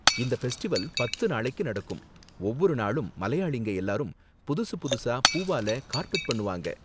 இந்த ஃபெஸ்டிவல் பத்து நாளைக்கு நடக்கும், ஒவ்வொரு நாளும் மலையாளிங்க எல்லாரும் புதுசு புதுசா பூவால கார்பெட் பண்ணுவாங்க.